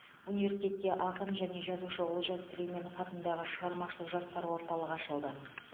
университетте ақын және жазушы олжас сүлейменов атындағы шығармашыл жастар орталығы ашылды